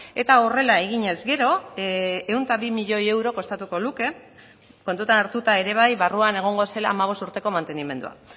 eta horrela eginez gero ehun eta bi milioi euro kostatuko luke kontutan hartuta ere bai barruan egongo zela hamabost urteko mantenimendua